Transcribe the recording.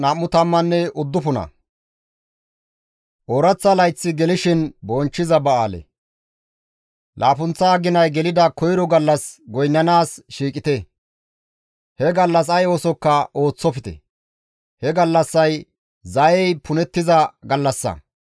« ‹Laappunththa aginay gelida koyro gallas goynnanaas shiiqite; he gallas ay oosokka ooththofte; he gallassay zayey punettiza gallassa.